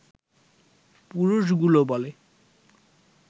পুরুষগুলো বলে